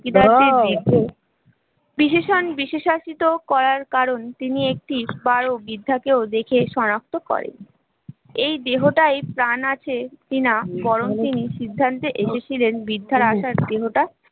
বিশেষনে বিশেষায়িত করার কারণ তিনি একতিশ বারো বৃদ্ধাকে ও দেখে সনাক্ত করেন, এই দেহটাই প্রাণ আছে কিনা বরং তিনি সিদ্ধান্ত এসেছিলেন বৃদ্ধার আত্মহত্যা